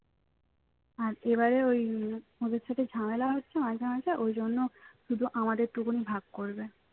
আর এবারে ওই ওদের সাথে ঝামেলা হচ্ছে মাঝে মাঝে ওই জন্য শুধু আমাদের টুকুনি ভাগ করবে